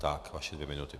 Tak, vaše dvě minuty.